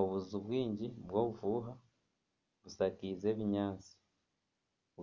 Obuju bwingi bw'obufuuha bushakaize ebinyaatsi